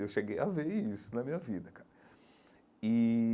Eu cheguei a ver isso na minha vida, cara e.